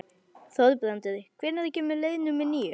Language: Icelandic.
Þorbrandur, hvenær kemur leið númer níu?